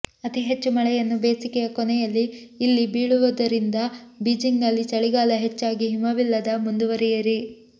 ಅತಿ ಹೆಚ್ಚು ಮಳೆಯನ್ನು ಬೇಸಿಗೆಯ ಕೊನೆಯಲ್ಲಿ ಇಲ್ಲಿ ಬೀಳುವ ರಿಂದ ಬೀಜಿಂಗ್ ನಲ್ಲಿ ಚಳಿಗಾಲ ಹೆಚ್ಚಾಗಿ ಹಿಮವಿಲ್ಲದ ಮುಂದುವರಿಯಿರಿ